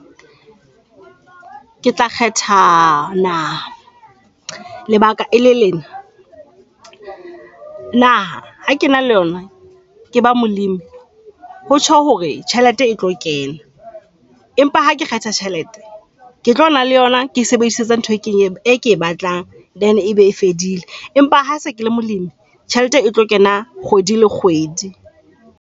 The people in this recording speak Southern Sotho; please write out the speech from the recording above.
Ke tla kgetha naha. Lebaka ele lena naha ha kena le yona, ke ba molemi. Ho tjho hore tjhelete e e tlo kena, empa ha ke kgetha tjhelete ke tlo ba le yona ke e sebedise ntho e ke e batlang then ebe e fedile, empa ha se ke le molemi tjhelete e tlo kena kgwedi le kgwedi.